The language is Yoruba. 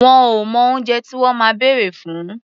Wọn ò mọ oúnjẹ tí wọ́n máa bèrè fún.